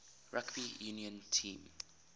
rugby union team